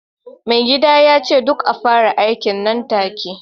mai gida ya ce duk kafinta ya fara aiki nan take